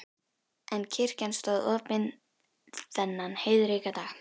En kirkjan stóð opin þennan heiðríka dag.